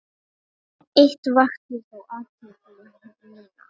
Eitt vakti þó athygli mína.